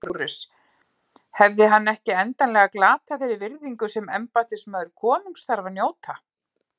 LÁRUS: Hefði hann ekki endanlega glatað þeirri virðingu sem embættismaður konungs þarf að njóta?